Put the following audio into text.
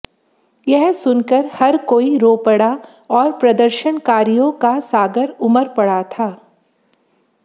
यह सुनकर हर कोई रो पड़ा और प्रदर्शनकारियों का सागर उमड़ पड़ा था